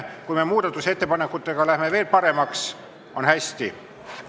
Kui me muudatusettepanekutega saame selle kõik veel paremaks, siis on hästi.